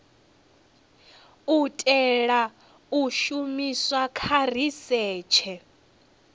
itelwa u shumiswa kha risetshe